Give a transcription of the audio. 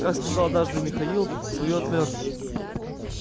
как сказал однажды михаил своё отмёрзли